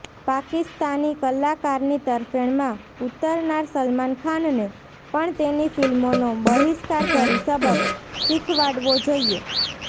પાકિસ્તાની કલાકારની તરફેણમાં ઊતરનાર સલમાન ખાનને પણ તેની ફિલ્મોનો બહિષ્કાર કરી શબક શીખવાડવો જોઇએ